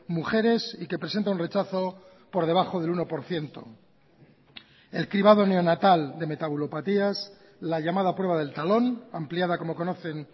mujeres y que presenta un rechazo por debajo del uno por ciento el cribado neonatal de metabulopatías la llamada prueba del talón ampliada como conocen